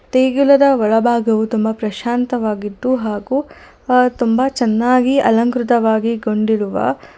ದೇಗುಲದ ಒಳ ಭಾಗವು ತುಂಬ ಪ್ರಶಾಂತವಾಗಿದ್ದು ಹಾಗು ಅ ತುಂಬ ಚೆನ್ನಾಗಿ ಅಲಂಕೃತವಾಗಿಗೊಂಡಿರುವ--